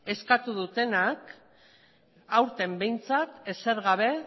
eskatu dutenak aurten behintzat ezer gabe